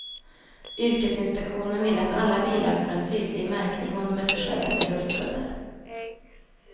Yrkesinspektionen vill att alla bilar får en tydlig märkning om de är försedda med luftkuddar.